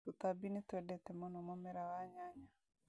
Tũtambi nĩtwendete mũno mũmera wa nyanya